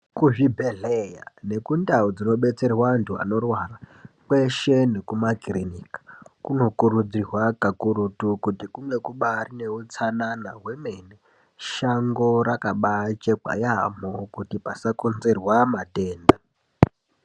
Kuzvibhedhlera nekundau dzinobetserwa antu anorwara kweshe nekumakirinika kunokurudzirwa kakurutu kuti kunge kubari neutsanana hwemene shango rakabachekwa yamho kuti pasakonzerwa matenda.